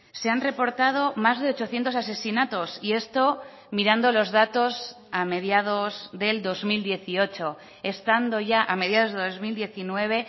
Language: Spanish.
se han reportado más de ochocientos asesinatos y esto mirando los datos a mediados del dos mil dieciocho estando ya a mediados de dos mil diecinueve